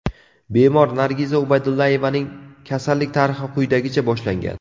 Bemor Nargiza Ubaydullayevaning kasallik tarixi quyidagicha boshlangan.